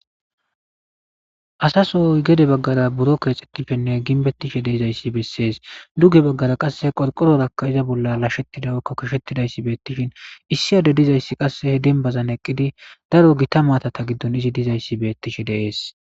Asaso gede baggara buro keexxettishenne ginbettishe deezayssi bessees duge baggara qasse qorqororakka iza bolla lashshettida ykko kishettidayssi beettishin issi ade dizayssi qasse he denbazan eqqidi daro gita maatata giddon izi dizayssi bettishe deees.